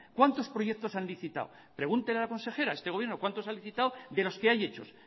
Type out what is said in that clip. cuántos proyectos ha licitado pregunten a la consejera este gobierno cuántos ha licitado de los que hay hecho